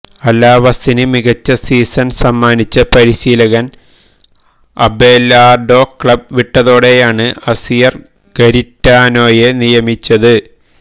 അലാവസിന് മികച്ച സീസണ് സമ്മാനിച്ച പരിശീലകന് അബെലാര്ഡോ ക്ലബ് വിട്ടതോടെയാണ് അസിയര് ഗരിറ്റാനോയെ നിയമിച്ചത്